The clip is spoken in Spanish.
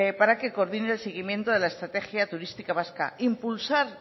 para que coordine el seguimiento de la estrategia turística vasca impulsar